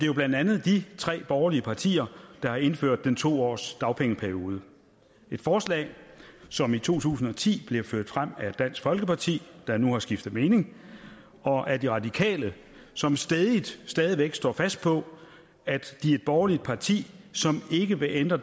jo blandt andet de tre borgerlige partier der har indført en to årsdagpengeperiode et forslag som i to tusind og ti blev ført frem af dansk folkeparti der nu har skiftet mening og af de radikale som stædigt stadig væk står fast på at de er et borgerligt parti som ikke vil ændre